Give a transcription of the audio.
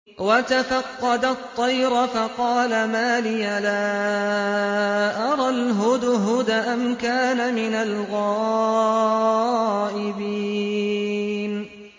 وَتَفَقَّدَ الطَّيْرَ فَقَالَ مَا لِيَ لَا أَرَى الْهُدْهُدَ أَمْ كَانَ مِنَ الْغَائِبِينَ